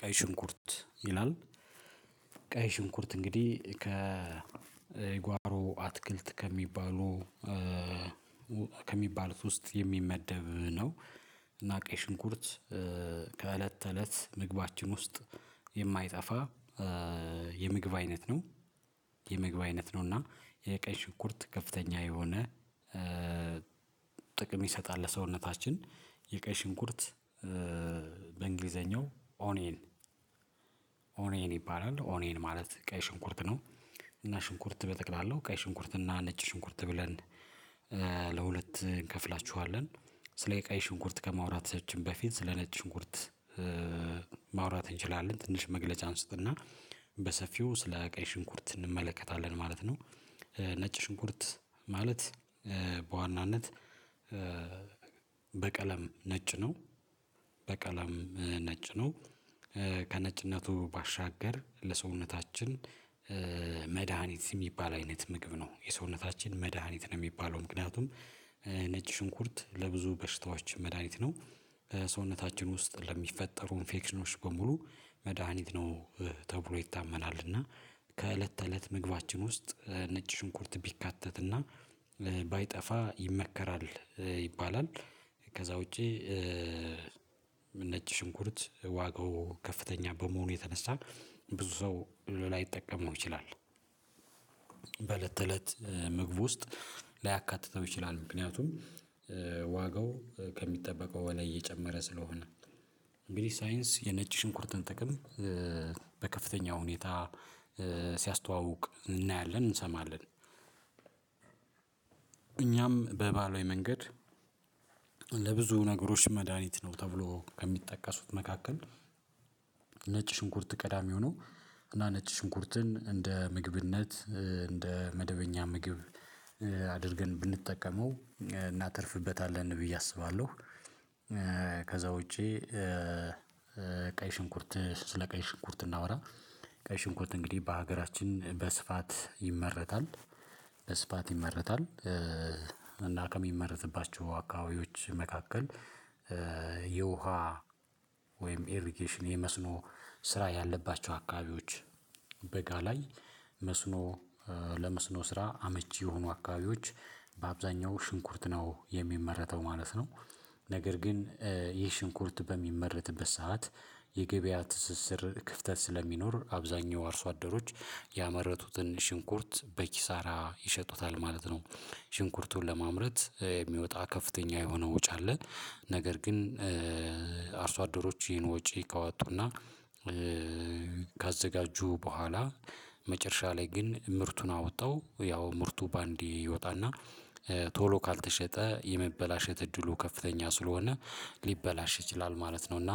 ቀይ ሽንኩርት ይላል። ቀይ ሽንኩርት እንግዲህ ከ የጓሮ አትክልት ከሚባሉ ከሚባሉት ውስጥ የሚመደብ ነው። እና ቀይ ሽንኩርት ከእለት ተእለት ምግባችን ውስጥ የማይጠፋ የምግብ አይነት ነው። የምግብ አይነት ነው እና የቀይ ሽኩርት ከፍተኛ የሆነ ጥቅም ይሰጣል ለሰውነታችን የቀይ ሽንኩርት በእንግሊዘኛው ኦኔን ኦኔን ይባላል ኦኔን ማለት ቀይ ሽንኩርት ነው። እና ሽንኩርት በጠቅላላው ቀይ ሽንኩርት እና ነጭ ሽንኩርት ብለን ለሁለት እንከፍላችኋለን። ስለ የቀይ ሽንኩርት ከማውራታችን በፊት ስለ ነጭ ሽንኩርት ማውራት እንችላለን ትንሽ መግለጫ አንስትና በሰፊው ስለ ቀይ ሽንኩርት እንመለከታለን ማለት ነው። ነጭ ሽንኩርት ማለት በዋናነት በቀለም ነጭ ነው። በቀለም ነጭ ነው ከነጭነቱ ባሻገር ለሰውነታችን መድሃኒት የሚባል አይነት ምግብ ነው የሰውነታችን መድሃኒት ነው። የሚባለው ምክንያቱም ነጭ ሽንኩርት ለብዙ በሽታዎች መድሃኒት ነው። ሰውነታችን ውስጥ ለሚፈጠሩ ኢንፌክሽኖች በሙሉ መድሃኒት ነው ተብሎ ይታመናል። እና ከእለት ተእለት ምግባችን ውስጥ ነጭ ሽንኩርት ቢካተት እና ባይጠፋ ይመከራል ይባላል። ከዛ ውጪ ነጭ ሽንኩርት ዋጋው ከፍተኛ በመሆኑ የተነሳ ብዙ ሰው ላይጠቀመው ይችላል። በእለት ምግብ ውስጥ ላያካትተው ይችላል ምክንያቱም ዋጋው ከሚጠበቀው በላይ እየጨመረ ስለሆነ እንግዲህ ሳይንስ የነጭ ሽንኩርትን ጥቅም በከፍተኛ ሁኔታ ሲያስተዋውቅ እናያለን እንሰማለን እኛም በባህላዊ መንገድ ለብዙ ነገሮች መድሃኒት ነው። ተብሎ ከሚጠቀሱት መካከል ነጭ ሽንኩርት ቀዳሚ ሆኖ እና ነጭ ሽንኩርትን እንደ ምግብነት እንደ መደበኛ ምግብ አድርገን ብንጠቀመው እናተርፍበታለን ብዬ አስባለሁ። ከዛ ውጪ ቀይ ሽንኩርት ስለ ቀይ ሽንኩርት እናወራ ቀይ ሽንኮት እንግዲህ በሀገራችን በስፋት ይመረታል። በስፋት ይመረታል ከሚመረትባቸው አካባቢዎች መካከል የውሃ ወይም ኤሪጌሽን የመስኖ ስራ ያለባቸው አካባቢዎች በጋ ላይ መስኖ ለመስኖ ስራ አመቺ የሆኑ አካባቢዎች በአብዛኛው ሽንኩርት ነው የሚመረተው ማለት ነው። ነገር ግን የሽንኩርት በሚመረትበት ሰዓት የገበያ ትስስር ክፍተት ስለሚኖር አብዛኛው አርሶ አደሮች ያመረቱትን ሽንኩርት በኪሳራ ይሸጡታል ማለት ነው። ሽንኩርቱን ለማምረት የሚወጣ ከፍተኛ የሆነ ውጭ አለ። ነገር ግን አርሶ አደሮች ይሄን ወጪ ካወጡና ካዘጋጁ በኋላ መጨረሻ ላይ ግን ምርቱን አውጠው ያው ምርቱ በአንዴ ይወጣና ቶሎ ካልተሸጠ የሚበላሸት እድሉ ከፍተኛ ስለሆነ ሊበላሽ ይችላል ማለት ነው። እና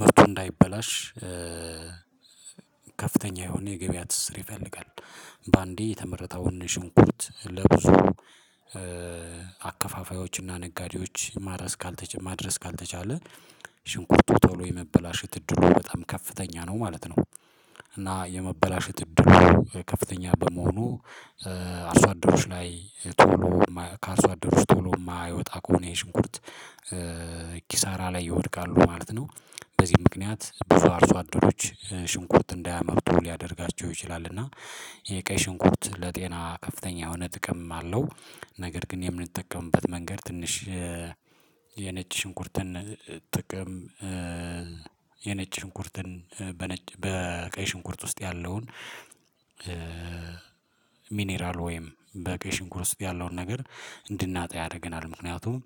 ምርቱ እንዳይበላሽ ከፍተኛ የሆነ የገበያ ትስር ይፈልጋል። በአንዴ የተመረተ ወንድ ሽንኩርት ለብዙ አከፋፋዮችና ነጋዴዎች ማድረስ ካልተቻለ ማድረስ ካልተቻለ ሽንኩርቱ ቶሎ የመበላሸት እድሉ በጣም ከፍተኛ ነው ማለት ነው። እና የመበላሸት እድሉ ከፍተኛ በመሆኑ አርሶ አደሮች ላይ ቶሎ ከአርሶ አደሮች ቶሎ የማይወጣ ከሆነ የሽንኩርት ኪሳራ ላይ ይወድቃሉ ማለት ነው። በዚህ ምክንያት ብዙ አርሶ አደሮች ሽንኩርት እንዳያመርቱ ሊያደርጋቸው ይችላል። እና የቀይ ሽንኩርት ለጤና ከፍተኛ የሆነ ጥቅም አለው። ነገር ግን የምንጠቀምበት መንገድ ትንሽ የነጭ ሽንኩርትን ጥቅም የነጭ ሽንኩርትን በቀይ ሽንኩርት ውስጥ ያለውን ሚኒራል ወይም በቀይ ሽንኩር ውስጥ ያለውን ነገር እንድናጣ ያደርገናል ምክንያቱም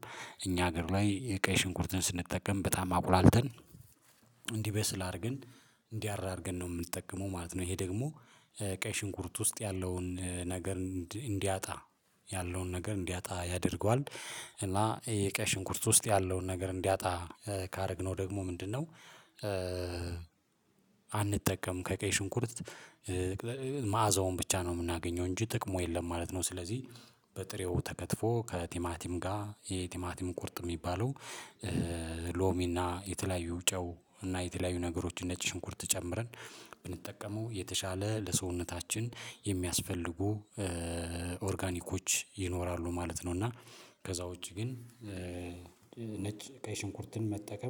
እኛ ሀገር ላይ የቀይ ሽንኩርትን ስንጠቀም በጣም አቁላልተን እንዲበስል አድርገን እንዲህ አድርገን ነው የምንጠቀመው ማለት ነው ይሄ ደግሞ ቀይ ሽንኩርት ውስጥ ያለውን ነገር እንዲያጣ ያለውን ነገር እንዲያጣ ያደርገዋል። እና የቀሽ ሽንኩርት ውስጥ ያለውን ነገር እንዲያጣ ካደረግነው ደግሞ ምንድነው? አንጠቀም ከቀይ ሽንኩርት መዓዛውን ብቻ ነው የምናገኘው እንጂ ጥቅሙ የለም ማለት ነው። ስለዚህ በጥሬው ተከትፎ ከቲማቲም ጋር የቲማቲም ቁርጥ የሚባለው ሎሚና የተለያዩ ጨው እና የተለያዩ ነገሮች ነጭ ሽንኩርት ጨምረን ብንጠቀመው የተሻለ ለሰውነታችን የሚያስፈልጉ ኦርጋኒኮች ይኖራሉ ማለት ነው። እና ከዛ ውጪ ግን ነጭ ቀይ ሽንኩርትን መጠቀም